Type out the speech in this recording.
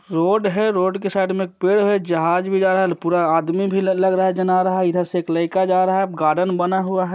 Road है road के side में एक पेड़ है | जहाज भी जा रहा है | पूरा आदमी भी लग रहा जना रहा है | इधर से एक लईका जा रहा है | गार्डन बना हुआ है।